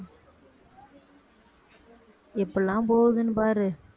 எப்படிலாம் போகுதுன்னு பாரு